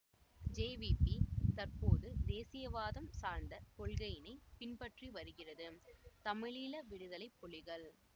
JVP தற்போது தேசியவாதம் சார்ந்த கொள்கையினை பின்பற்றி வருகிறது தமிழீழ விடுதலை புலிகள்